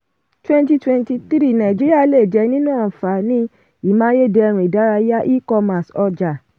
twenty twenty three nàìjíríà lè jẹ nínú àǹfààní; imáyédẹrùn ìdárayá e-commerce ọjà.